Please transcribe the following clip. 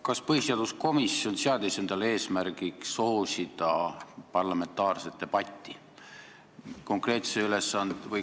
Kas põhiseaduskomisjon seadis endale eesmärgiks soosida parlamentaarset debatti?